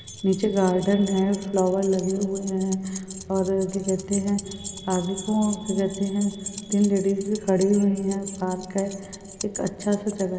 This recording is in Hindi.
निचे गार्डन है फ्लोवर लगे हुए है और क्या कहते है तीन लेडीज भी खड़ी हुयी है पार्क है एक अच्छा सा जगह --